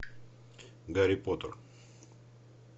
гарри поттер